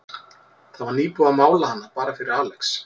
Það var nýbúið að mála hana, bara fyrir Alex.